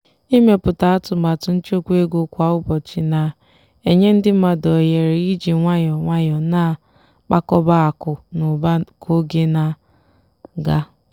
ịmepụta atụmatụ nchekwa ego kwa ụbọchị na-enye ndị mmadụ ohere iji nwayọọ nwayọọ na-akpakọba akụ na ụba ka oge na-aga.